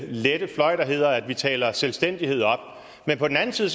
lette fløj der hedder at vi taler selvstændighed op men på den anden side